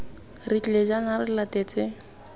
re tlile jaana re latetse